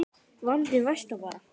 Vandinn versnar bara.